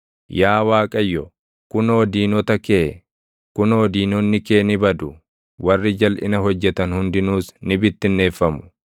Yaa Waaqayyo, kunoo diinota kee, kunoo diinonni kee ni badu; warri jalʼina hojjetan hundinuus ni bittinneeffamu.